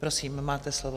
Prosím, máte slovo.